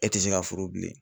E tɛ se ka furu bilen.